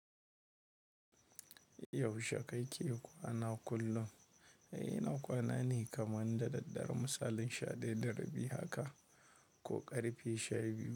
Yaushe kake kwana kullum? Ina kwana ne kamar dadaddare misalin sha dayada rabi haka ko karfe sha biyu.